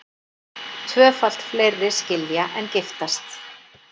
Tvöfalt fleiri skilja en giftast